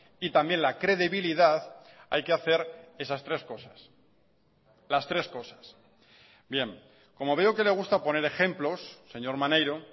y también la credibilidad hay que hacer esas tres cosas las tres cosas bien como veo que le gusta poner ejemplos señor maneiro